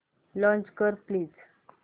launch कर please